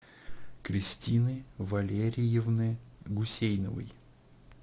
кристины валериевны гусейновой